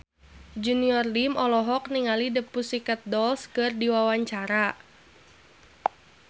Junior Liem olohok ningali The Pussycat Dolls keur diwawancara